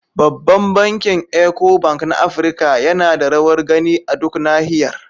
Babban bankin Eco Bank na Afirka yana da rawar gani a duk Nahiyar.